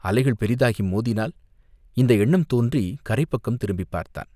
அலைகள் பெரிதாகி மோதினால், இந்த எண்ணம் தோன்றிக் கரைப் பக்கம் திரும்பிப் பார்த்தான்.